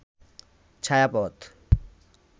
ছায়াপথ